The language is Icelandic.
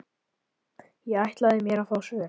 Ég ætlaði mér að fá svör.